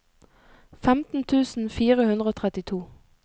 femten tusen fire hundre og trettito